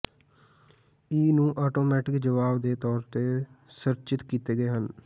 ਈ ਨੂੰ ਆਟੋਮੈਟਿਕ ਜਵਾਬ ਦੇ ਤੌਰ ਤੇ ਸੰਰਚਿਤ ਕੀਤੇ ਗਏ ਹਨ